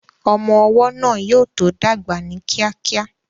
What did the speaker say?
Ọmọ ọwọ́ náà yóò tó dàgbà ní kíákíá